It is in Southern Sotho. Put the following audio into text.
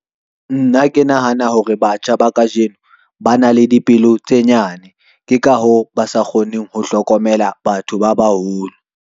Nna ke nahana hore batjha ba kajeno ba na le dipelo tse nyane, ke ka ho ba sa kgoneng ho hlokomela batho ba baholo.